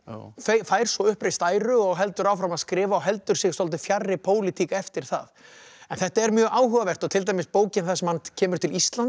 fær svo uppreist æru og heldur áfram að skrifa og heldur sig svolítið fjarri pólitík eftir það en þetta er mjög áhugavert og til dæmis bókin þar sem hann kemur til Íslands